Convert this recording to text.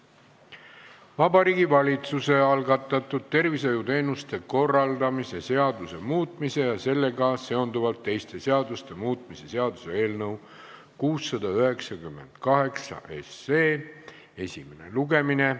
Vabariigi Valitsuse algatatud tervishoiuteenuste korraldamise seaduse muutmise ja sellega seonduvalt teiste seaduste muutmise seaduse eelnõu 698 esimene lugemine.